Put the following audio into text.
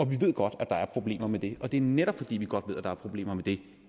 vi ved godt der er problemer med det og det er netop fordi vi godt ved at der er problemer med det